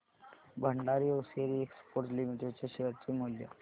Bhandari hosiery exports limited च्या share चे मूल्य